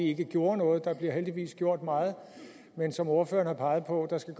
ikke gjorde noget der bliver heldigvis gjort meget men som ordføreren har peget på skal